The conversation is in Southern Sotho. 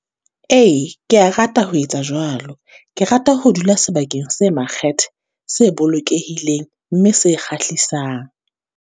Ee, ke ya rata ho etsa jwalo. Ke rata ho dula sebakeng se makgethe, se bolokehileng, mme se kgahlisang